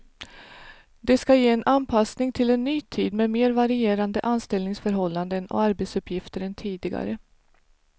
Det ska ge en anpassning till en ny tid med mer varierande anställningsförhållanden och arbetsuppgifter än tidigare.